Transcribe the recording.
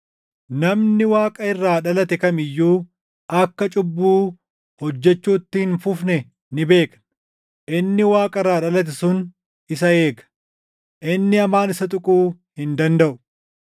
Namni Waaqa irraa dhalate kam iyyuu akka cubbuu hojjechuutti hin fufne ni beekna; Inni Waaqa irraa dhalate sun isa eega; inni hamaan isa tuquu hin dandaʼu.